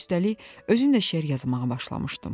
Üstəlik, özüm də şeir yazmağa başlamışdım.